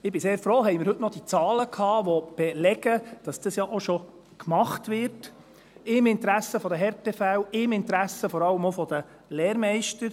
Ich bin sehr froh, haben wir heute noch diese Zahlen gehabt, die belegen, dass das ja auch schon gemacht wird, im Interesse der Härtefälle, im Interesse vor allem auch der Lehrmeister.